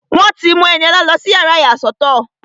Wọ́n ti mú Ẹniọlá lọ fún yàrá ìyàsọ́tọ̀